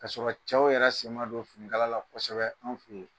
K'a sɔrɔ cɛw yɛrɛ sen ma don finikala la kosɛbɛ an fɛ yan.